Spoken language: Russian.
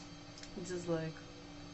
дизлайк